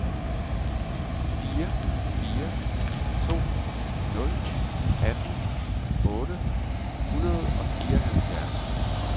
fire fire to nul atten otte hundrede og fireoghalvfjerds